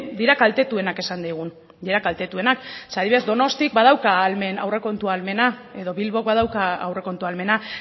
dira kaltetuenak izan daigun adibidez donostiak badauka aurrekontu ahalmena edo bilbok badauka aurrekontu ahalmena